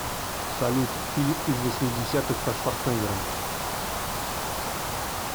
салют фильм из восьмидесятых со шварценеггером